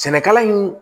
Sɛnɛkala in